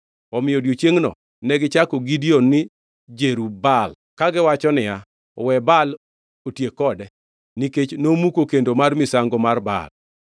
Omiyo odiechiengno negichako Gideon ni Jerub-Baal, kagiwacho niya, “We Baal otiek kode,” nikech nomuko kendo mar misango mar Baal.